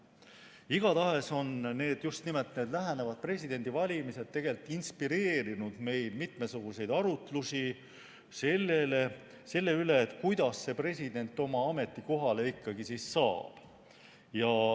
Igatahes on just nimelt need lähenevad presidendivalimised tegelikult inspireerinud meil mitmesuguseid arutlusi selle üle, kuidas president oma ametikohale ikkagi saab.